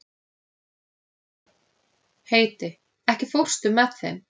Heidi, ekki fórstu með þeim?